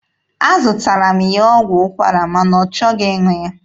Azụtaara m ya ọgwụ ụkwara ma na ọ chọghị ịṅụ ya.